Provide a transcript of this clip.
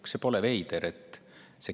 Kas see pole veider?